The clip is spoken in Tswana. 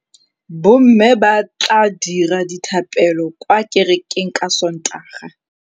Bommê ba tla dira dithapêlô kwa kerekeng ka Sontaga.